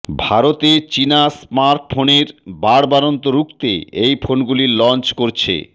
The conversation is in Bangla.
ভারতে চিনা স্মার্টফোনের বাড়বাড়ন্ত রুখতে এই ফোনগুলি লঞ্চ করছে